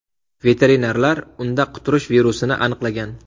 Veterinarlar unda quturish virusini aniqlagan.